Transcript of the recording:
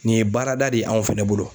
Nin ye baarada de ye anw fana bolo.